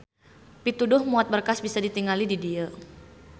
Pituduh muat berkas bisa ditingali di dieu.